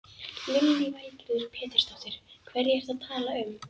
Lillý Valgerður Pétursdóttir: Hverja ertu að tala um?